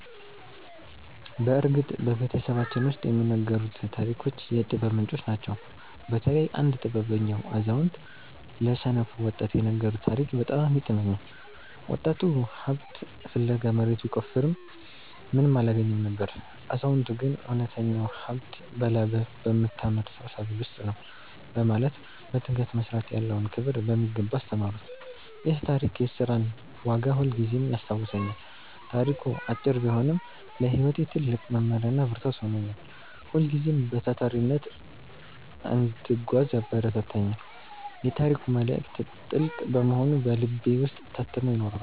በእርግጥ በቤተሰባችን ውስጥ የሚነገሩት ታሪኮች የጥበብ ምንጮች ናቸው። በተለይ አንድ ጥበበኛ አዛውንት ለሰነፍ ወጣት የነገሩት ታሪክ በጣም ይጥመኛል። ወጣቱ ሀብት ፍለጋ መሬት ቢቆፍርም ምንም አላገኘም ነበር። አዛውንቱ ግን እውነተኛው ሀብት በላብህ በምታመርተው ሰብል ውስጥ ነው በማለት በትጋት መስራት ያለውን ክብር በሚገባ አስተማሩት። ይህ ታሪክ የሥራን ዋጋ ሁልጊዜም ያስታውሰኛል። ታሪኩ አጭር ቢሆንም ለሕይወቴ ትልቅ መመሪያና ብርታት ሆኖኛል። ሁልጊዜም በታታሪነት እንድጓዝ ያበረታታኛል። የታሪኩ መልእክት ጥልቅ በመሆኑ በልቤ ውስጥ ታትሞ ይኖራል።